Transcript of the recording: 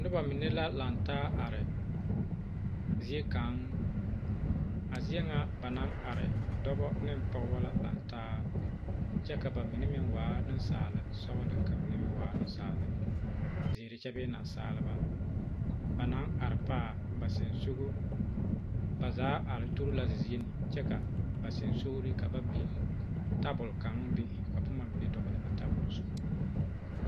Noba mine la lantaa are ziekaŋ a zie ŋa ba naŋ are dɔba ne pɔgeba la lantaa kyɛ ka ba mine meŋ waa nensaale sɔgelɔ ka ba mine meŋ waa Nensaaleba zeere kyɛ bee naasaaleba ba naŋ are paa ba sensoŋa zaa are tuori la a zie ne kyɛ kaa basensoŋeleŋ ka ba boŋ tabol kaŋa be ka boma mine dɔgele a tabol zu